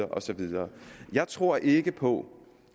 og så videre jeg tror ikke på